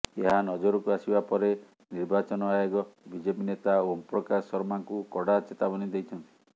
ଏହା ନଜରକୁ ଆସିବା ପରେ ନିର୍ବାଚନ ଆୟୋଗ ବିଜେପି ନେତା ଓମପ୍ରକାଶ ଶର୍ମାଙ୍କୁ କଡ଼ା ଚେତାବନୀ ଦେଇଛନ୍ତି